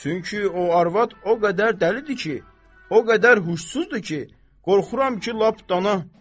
Çünki o arvad o qədər dəlidir ki, o qədər huşsuzdur ki, qorxuram ki, lap dana.